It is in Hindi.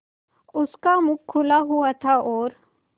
उसका मुख खुला हुआ था और